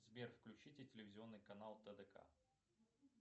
сбер включите телевизионный канал тдк